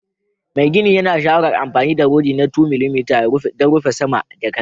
Mai gini yana shawarar anfani 12mm rufe sama da kankare